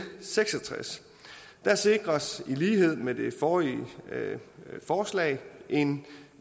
seks og tres sikres i lighed med det forrige forslag en